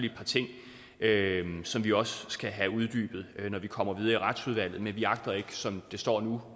et par ting som vi også skal have uddybet når vi kommer videre i retsudvalget men vi agter ikke som det står nu